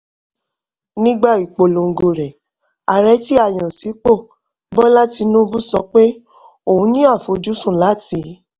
nígbà ìpolongo rẹ̀ ààrẹ tí a yàn sípò bola tinubu sọ pé òun ní àfojúsùn láti